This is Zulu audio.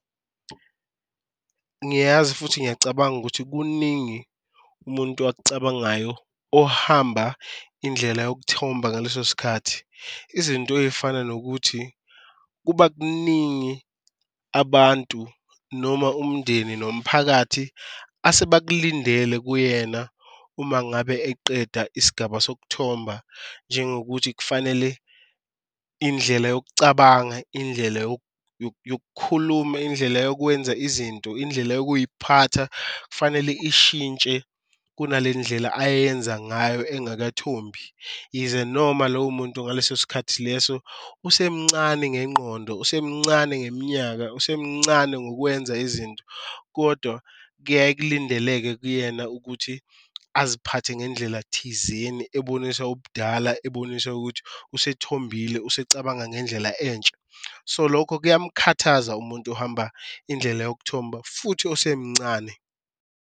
Ngiyazi futhi ngiyacabanga ukuthi kuningi umuntu akucabangayo ohamba indlela yokuthomba ngaleso sikhathi, izinto eyifana nokuthi kuba kuningi abantu noma umndeni nomphakathi asebakulindele kuyena uma ngabe eqeda isigaba sokuthomba. Njengokuthi kufanele indlela yokucabanga, indlela yokukhuluma, indlela yokwenza izinto, indlela yokuyiphatha kufanele ishintshe kunale ndlela ayenza ngayo engakathombi. Yize noma lowo muntu ngaleso sikhathi leso usemncane ngengqondo, usemncane ngeminyaka, usemncane ngokwenza izinto kodwa kuyaye kulindeleke kuyena ukuthi aziphathe ngendlela thizeni ebonisa ubudala, ebonisa ukuthi usethombile usecabanga ngendlela entsha. So, lokho kuyamkhathaza umuntu ohamba indlela yokuthomba futhi osemncane.